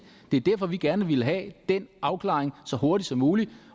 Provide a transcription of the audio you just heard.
det er derfor vi gerne ville have den afklaring så hurtigt som muligt